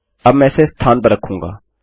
अब मैं इसे स्थान पर रखूँगा